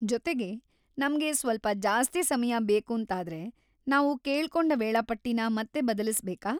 ಜೊತೆಗೆ, ನಮ್ಗೆ ಸ್ವಲ್ಪ ಜಾಸ್ತಿ ಸಮಯ ಬೇಕೂಂತಾದ್ರೆ, ನಾವು ಕೇಳ್ಕೊಂಡ ವೇಳಾಪಟ್ಟಿನ ಮತ್ತೆ ಬದಲಿಸ್ಬೇಕಾ?